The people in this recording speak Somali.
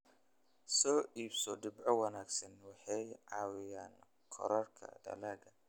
Soo iibso dhibco wanaagsan waxay caawiyaan kororka dalagga.